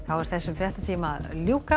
er þessum fréttatíma að ljúka